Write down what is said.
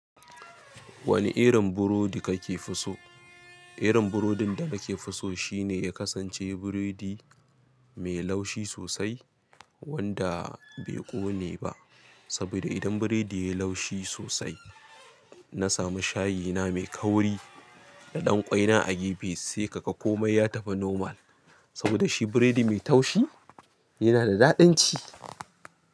Wani irin burodi kake fi so? Irin burodin da nake so shine ya kasance buredi mai laushi sosai wanda bai ƙone ba. Sabida idan buredi yayi laushi sosai, nasamu shayina mai kauri da ɗan ƙwai na a gefe, sai kaga komai ya tafi normal. Saboda shi buredi mai taushi yana da daɗin ci.